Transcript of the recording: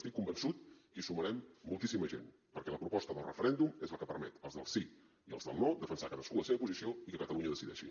estic convençut que hi sumarem moltíssima gent perquè la proposta del referèndum és la que permet els del sí i els del no defensar cadascú la seva posició i que catalunya decideixi